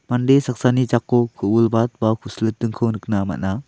mande saksani jako ku·bilbat ba ku·silitingko nikna man·a.